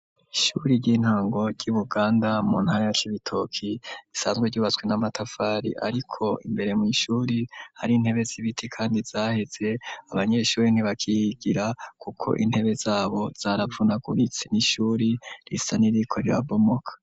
Ishuri ry'intango ry'ibuganda mu ntara ya cibitoki isanzwe ryubatswe n'amatafari ariko imbere mu ishuri hari intebe z'ibiti kandi zaheze abanyeshuri ntibakiygira kuko intebe zabo zarapfunaguritsi n'ishuri risa n'iriko rya bomoka.